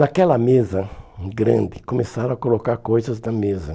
Naquela mesa grande, começaram a colocar coisas da mesa.